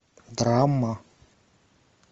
драма